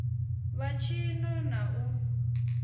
vha tshi ṱo ḓa u